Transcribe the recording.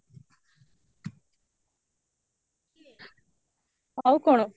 ଆଉ କଣ